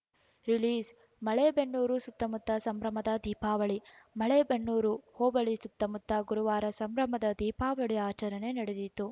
ರಿಲೀಸ್‌ಮಲೆಬೆನ್ನೂರು ಸುತ್ತಮುತ್ತ ಸಂಭ್ರಮದ ದೀಪಾವಳಿ ಮಲೇಬೆನ್ನೂರು ಹೋಬಳಿ ಸುತ್ತಮುತ್ತ ಗುರುವಾರ ಸಂಭ್ರಮದ ದೀಪಾವಳಿ ಆಚರಣೆ ನಡೆದಿತ್ತು